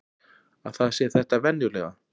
Að það sé þetta venjulega.